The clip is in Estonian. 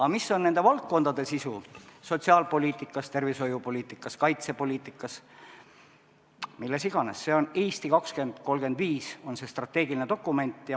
Aga mis on nende valdkondade sisu sotsiaalpoliitikas, tervishoiupoliitikas, kaitsepoliitikas, milles iganes, selleks on "Eesti 2035", strateegiline dokument.